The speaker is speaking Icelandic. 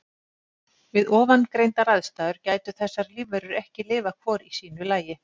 Við ofangreindar aðstæður gætu þessar lífverur ekki lifað hvor í sínu lagi.